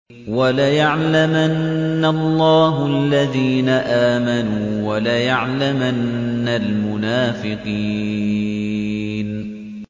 وَلَيَعْلَمَنَّ اللَّهُ الَّذِينَ آمَنُوا وَلَيَعْلَمَنَّ الْمُنَافِقِينَ